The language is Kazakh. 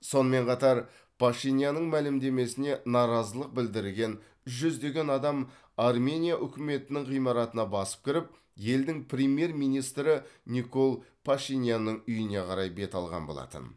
сонымен қатар пашинянның мәлімдемесіне наразылық білдірген жүздеген адам армения үкіметінің ғимаратына басып кіріп елдің премьер министрі никол пашинянның үйіне қарай бет алған болатын